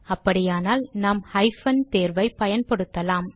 அப்படியானால் நாம் ஹைபன் தேர்வை பயன்படுத்தலாம்